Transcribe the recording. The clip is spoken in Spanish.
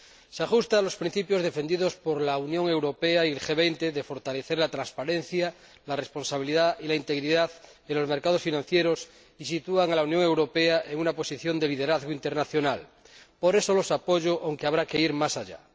Se ajusta a los principios defendidos por la Unión Europea y el G 20 de fortalecer la transparencia, la responsabilidad y la integridad en los mercados financieros y sitúan a la Unión Europea en una posición de liderazgo internacional. Por eso los apoyo, aunque habrá que ir más allá.